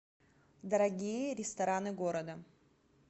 дорогие рестораны города